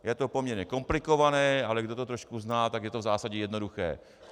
Je to poměrně komplikované, ale kdo to trošku zná, tak je to v zásadě jednoduché.